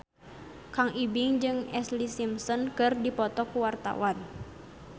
Kang Ibing jeung Ashlee Simpson keur dipoto ku wartawan